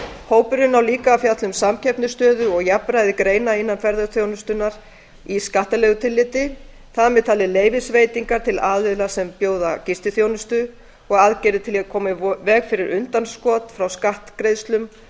hópurinn á líka að fjalla um samkeppnisstöðu og jafnræði greina innan ferðaþjónustunnar í skattalegu tilliti þar með talið leyfisveitingar til aðila sem bjóða gistiþjónustu og aðgerðir til að koma í veg fyrir undanskot frá skattgreiðslum